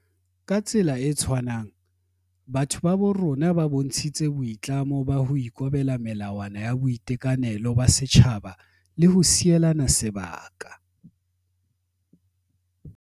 Ka tsela e tshwanang, batho ba bo rona ba bontshitse boi tlamo ba ho ikobela melawa na ya boitekanelo ba setjhaba le ho sielana sebaka.